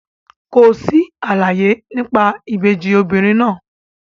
Kò sí àlàyé nípa ìbejì obìnrin náà.